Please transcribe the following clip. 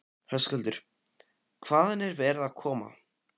Höskuldur: Hvaðan er verið að koma?